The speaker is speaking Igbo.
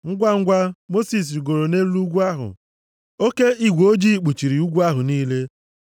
Ngwangwa, Mosis rigoro nʼelu ugwu ahụ, oke igwe ojii kpuchiri ugwu ahụ niile,